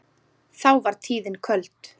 þá var tíðin köld